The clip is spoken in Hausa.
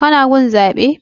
Ka na gun zaɓe?